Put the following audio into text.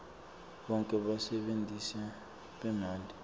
bonkhe basebentisi bemanti